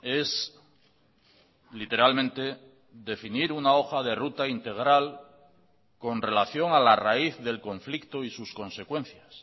es literalmente definir una hoja de ruta integral con relación a la raíz del conflicto y sus consecuencias